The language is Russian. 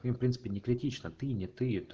в принципе не критично ты не ты это